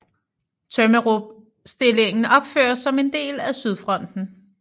Tømmerupstillingen opføres som en del af Sydfronten